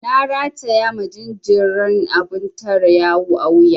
Na rataya ma jinjiran abun tare yawu a wuya.